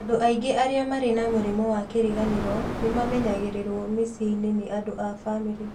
Andũ aingĩ arĩa marĩ na mũrimũ wa kĩriganĩro nĩ mamenyagĩrĩrwo mĩciĩ-inĩ nĩ andũ a bamirĩ.